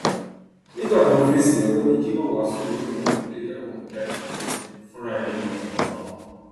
nígbà tó ń fèsì ọgbẹni cs] jimoh wasu ni òun kò lé ìyàwó òun jáde nílé fúnra ẹ ló lọ tọmọtọmọ